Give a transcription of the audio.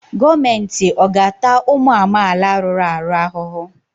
Gọọmenti ọ̀ ga-ata ụmụ amaala rụrụ arụ ahụhụ?